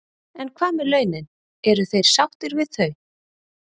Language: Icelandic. En hvað með launin, eru þeir sáttir við þau?